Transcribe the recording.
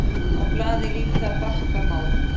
Á blaði líta bakka má.